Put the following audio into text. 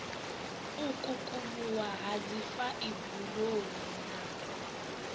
u kukumuwa ha dzifaiburoni na